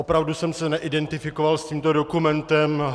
Opravdu jsem se neidentifikoval s tímto dokumentem.